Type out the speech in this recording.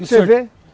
Você vê?